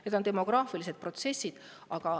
Need on demograafilised protsessid.